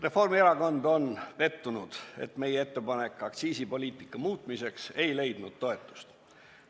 Reformierakond on pettunud, et meie ettepanek aktsiisipoliitika muutmiseks ei leidnud toetust.